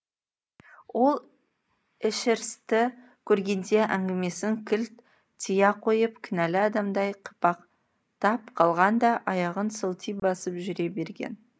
ол эшерстті көргеңде әңгімесін кілт тия қойып кінәлі адамдай қипақтап қалған да аяғын сылти басып жүре берген